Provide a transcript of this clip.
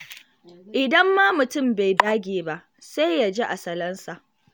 Idan ma mutum bai dage ba, sai ya ji a salansa.